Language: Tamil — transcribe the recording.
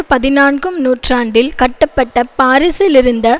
பதினான்கும் நூற்றாண்டில் கட்டப்பட்ட பாரிசில் இருந்த